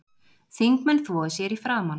Þingmenn þvoi sér í framan